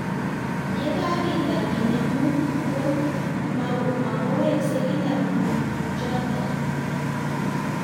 Ye kakitar kenem mook ko makoweksei kila mook chutok